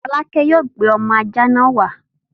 Folake yóò gbé ọmọ ajá náà wá!